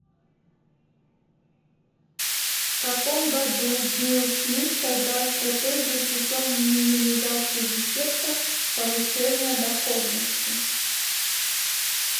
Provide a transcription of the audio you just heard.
в каком году билл смит создал стратегию путем минимизации дефектов повышения доходности